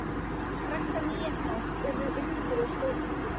Strax á Nýársnóttina urðu undur og stórmerki.